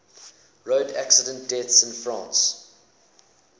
road accident deaths in france